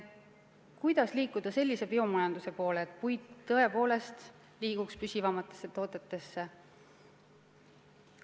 Kuidas liikuda sellise biomajanduse poole, et puitu tõepoolest kasutataks püsivamates toodetes?